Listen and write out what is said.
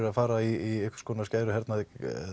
að fara í einhvers konar skæruhernað